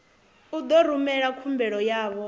u ḓo rumela khumbelo yavho